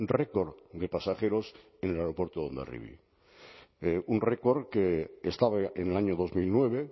record de pasajeros en el aeropuerto de hondarribia un record que estaba en el año dos mil nueve